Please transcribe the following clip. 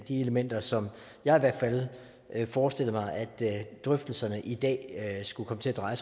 de elementer som jeg i hvert fald forestillede mig at drøftelserne i dag skulle komme til at dreje